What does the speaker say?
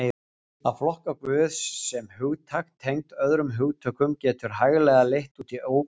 Að flokka Guð sem hugtak tengt öðrum hugtökum getur hæglega leitt út í ógöngur.